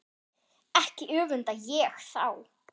Ekki öfunda ég þá